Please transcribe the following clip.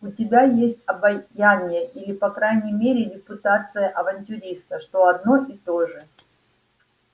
у тебя есть обаяние или по крайней мере репутация авантюриста что одно и то же